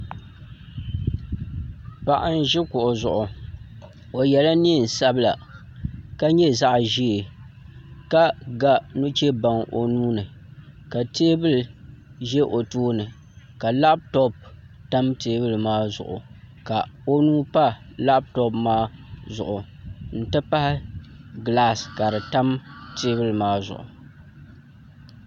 Paɣa n ʒi kuɣu zuɣu o yɛla neen sabila ka nyɛ zaɣ ʒiɛ ka ga nuchɛ baŋ o nuuni ka teebuli ʒɛ o tooni ka labtop tam teebuli maa zuɣu ka o nuu pa labtop maa zuɣu n ti pahi gilaas ka di tam teebuli maa zuɣu